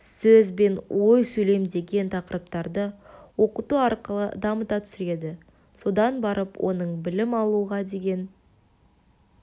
сөз бен ой сөйлем деген тақырыптарды оқыту арқылы дамыта түседі содан барып оның білім алуға деген